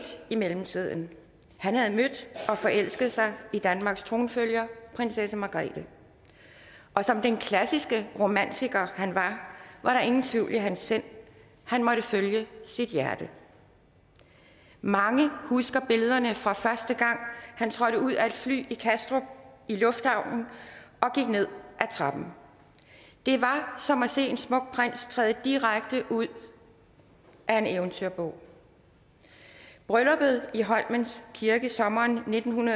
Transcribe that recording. i mellemtiden han havde mødt og forelsket sig i danmarks tronfølger prinsesse margrethe og som den klassiske romantiker han var var der ingen tvivl i hans sind han måtte følge sit hjerte mange husker billederne fra første gang han trådte ud af et fly i kastrup lufthavn og gik ned ad trappen det var som at se en smuk prins træde direkte ud af en eventyrbog brylluppet i holmens kirke sommeren nitten